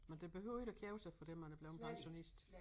Men det behøver ikke at kede sig fordi man er blevet pensionist